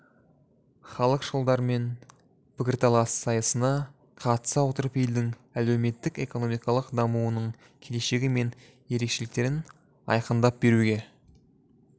халықшылдармен пікірталас сайысына қатыса отырып елдің әлеуметтік-экономикалық дамуының келешегі мен ерекшеліктерін айқындап беруге